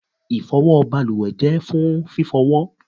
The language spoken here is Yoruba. ifowo baluwe je fún fifowo